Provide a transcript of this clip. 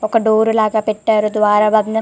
ఒక డోర్ లాగా పెట్టారు ద్వారాలన్నీ--